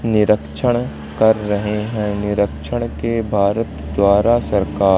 निरक्षण कर रहे हैं निरीक्षण के भारत द्वारा सरकार--